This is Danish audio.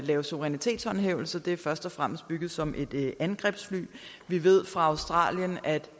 lave suverænitetshåndhævelse det er først og fremmest bygget som et angrebsfly vi ved fra australien at